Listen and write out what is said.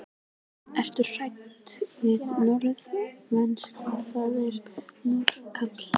Ertu hræddur við norska veturinn, það verður nokkuð kalt?